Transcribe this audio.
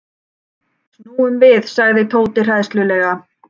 Snúum við sagði Tóti hræðslulega.